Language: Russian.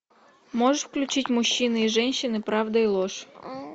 можешь включить мужчины и женщины правда и ложь